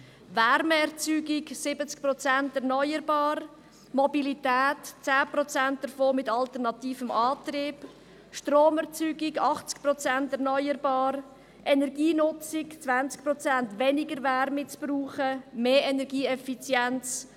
Wärmeerzeugung: 70 Prozent erneuerbar, Mobilität: 10 Prozent davon mit alternativem Antrieb, Stromerzeugung: 80 Prozent erneuerbar und Energienutzung: 20 Prozent weniger Wärmebedarf, mehr Energieeffizienz.